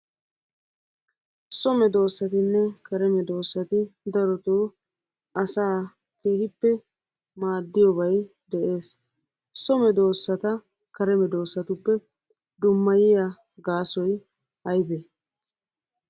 So medoossatinne kare medoossati daroto asaa keehippe maaddiyobay de'es. So medossata kare medossatuppe dummayiya gaasoy ayibee?